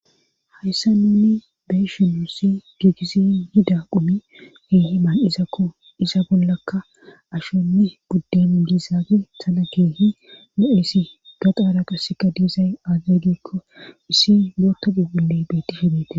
Hayssa nunni beeshinuussi giigisi hida qumi keehi ma izakko isa bollakka ashonne gudde mu giza gesana keehi moelisi gaxaara qasseka diizay aazagikko issi moota gugulle beetti shebeete.